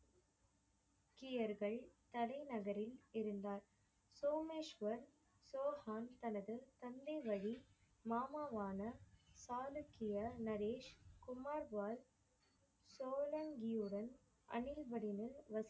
சீக்கியர்கள் தலைநகரில் இருந்தார். சோமேஷ்வர் சவுகான் தனது தந்தை வழி மாமாவான காலக்கிய நரேஷ் குமார் வால் சோழன்கியுடன் அணி வசித்து